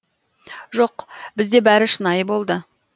жоқ бізде бәрі шынайы болды